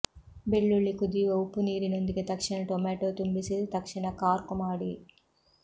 ಬೆಳ್ಳುಳ್ಳಿ ಕುದಿಯುವ ಉಪ್ಪುನೀರಿನೊಂದಿಗೆ ತಕ್ಷಣ ಟೊಮ್ಯಾಟೊ ತುಂಬಿಸಿ ತಕ್ಷಣ ಕಾರ್ಕ್ ಮಾಡಿ